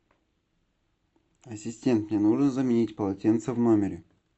ассистент мне нужно заменить полотенце в номере